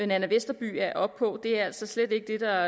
nanna westerby er oppe på er altså slet ikke det der